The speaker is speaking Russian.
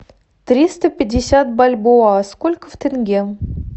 триста пятьдесят бальбоа сколько в тенге